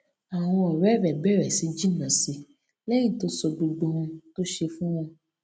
àwọn òré rè bèrè sí jìnnà si léyìn tó sọ gbogbo ohun tó ń ṣe fún wọn